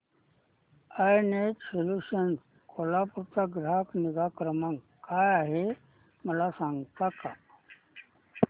I net solutions Kolhapur चा ग्राहक निगा क्रमांक काय आहे मला सांगता का